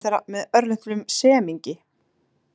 Nei, svarar önnur þeirra með örlitlum semingi.